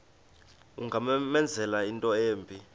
ungamenzela into embi